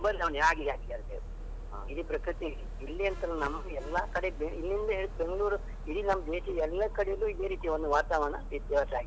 ಬದಲಾವಣೆ ಆಗಿದೆ ಆಗಿದೆ ಹೌದು ಇಡೀ ಪ್ರಕೃತಿ ಇಲ್ಲಿ ಅಂತ ಅಲ್ಲ, ನಮಗೂ ಎಲ್ಲ ಕಡೆಯಲ್ಲಿ ಬೇರೆ ಇಲ್ಲಿಂದ ಹಿಡಿದು ಬೆಂಗಳೂರು ಇಡೀ ನಮ್ಮ ದೇಶದ್ದು ಎಲ್ಲ ಕಡೆಯೂ ಇದೇ ರೀತಿ ಒಂದು ವಾತಾವರಣ ವ್ಯತ್ಯಾಸ ಆಗಿದೆ.